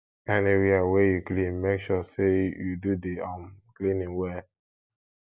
anywia wey yu clean mek sure say yu do di um cleaning well